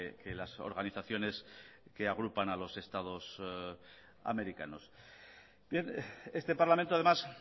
que las organizaciones que agrupan a los estados americanos bien este parlamento además